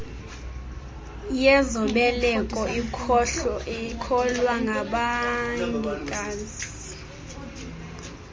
yezobeleko ikhokelwa ngabongikazi